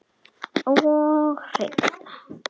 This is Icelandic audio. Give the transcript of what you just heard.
Og hreinn!